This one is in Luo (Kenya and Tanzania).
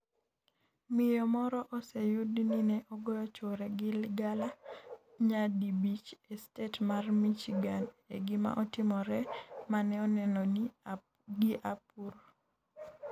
Miyo moro oseyud ni ne ogoyo chuore gi ligangla nyadibich e stet mar Michigan e gima otimore mane oneno gi apur.